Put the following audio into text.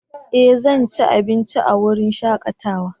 Eh! Zan ci abinci a wurin shakatawa.